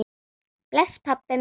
Bless, pabbi minn.